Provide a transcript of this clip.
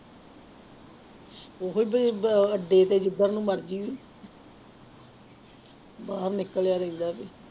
ਉਹੀ ਵੀ ਬ ਅੱਡੇ ਤੇ ਜਿੱਧਰ ਨੂੰ ਮਰਜ਼ੀ ਬਾਹਰ ਨਿਕਲਿਆ ਰਹਿੰਦਾ ਵੀ।